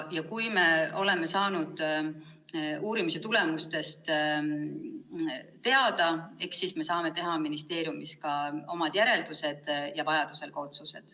Kui me oleme saanud uurimise tulemustest teada, eks me siis saame teha ministeeriumis omad järeldused ja vajaduse korral ka otsused.